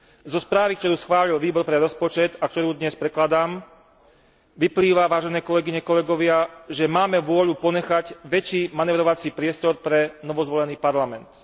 Zo správy, ktorú schválil Výbor pre rozpočet a ktorú dnes predkladám, vyplýva, vážené kolegyne a kolegovia, že máme vôľu ponechať väčší manévrovací priestor pre novozvolený Parlament.